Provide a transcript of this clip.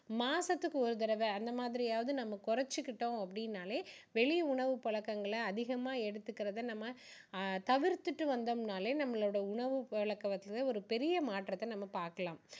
மாசத்துக்கு ஒரு தடவை அந்த மாதிரியாவது நம்ம குறைச்சுக்கிட்டோம் அப்படினாலே வெளி உணவு பழக்கங்களை அதிகமா எடுத்துக்குறத நம்ம தவிர்த்திட்டு வந்தோம்னாலே நம்மளோட உணவு பழக்கங்கள் ஒரு பெரிய மாற்றத்தை நம்ம பார்க்கலாம்